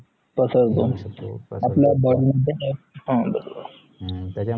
पसरतो आपलं बॉडी मध्ये